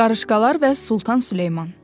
Qarışqalar və Sultan Süleyman.